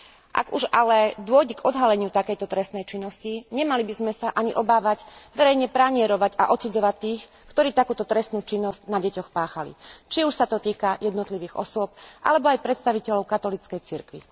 Ak už ale dôjde k odhaleniu takejto trestnej činnosti, nemali by sme sa ani obávať verejne pranierovať a odsudzovať tých, ktorí takúto trestnú činnosť na deťoch páchali, či už sa to týka jednotlivých osôb alebo aj predstaviteľov katolíckej cirkvi.